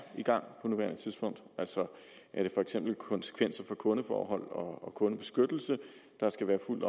i gang på nuværende tidspunkt er det for eksempel konsekvenser for kundeforhold og kundebeskyttelse der skal være fuldt